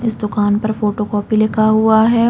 इस दुकान पर फ़ोटो कॉपी लिखा हुआ है।